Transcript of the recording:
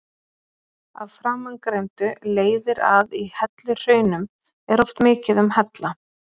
Af framangreindu leiðir að í helluhraunum er oft mikið um hella.